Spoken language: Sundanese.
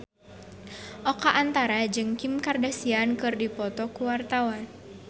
Oka Antara jeung Kim Kardashian keur dipoto ku wartawan